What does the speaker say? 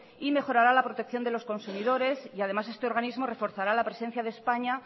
y mejorará la protección de los consumidores y además este organismo reforzará la presencia de españa